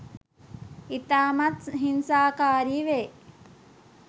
ඉතාමත් හිංසාකාරී වේ.